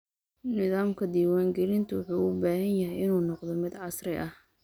Nidaamka diiwaangelinta wuxuu u baahan yahay inuu noqdo mid casri ah.